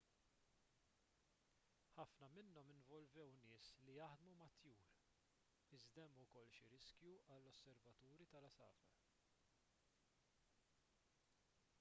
ħafna minnhom involvew nies li jaħdmu mat-tjur iżda hemm ukoll xi riskju għall-osservaturi tal-għasafar